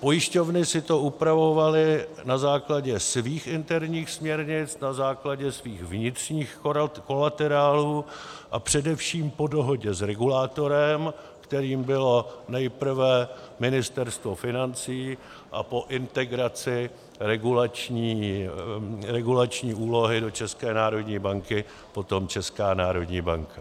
Pojišťovny si to upravovaly na základě svých interních směrnic, na základě svých vnitřních kolaterálů a především po dohodě s regulátorem, kterým bylo nejprve Ministerstvo financí a po integraci regulační úlohy do České národní banky potom Česká národní banka.